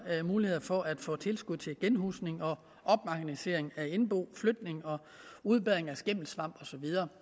mulighed for at få tilskud til genhusning og opmagasinering af indbo flytning og udbedring af skimmelsvampskader